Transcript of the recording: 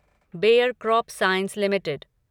bear CropScience limited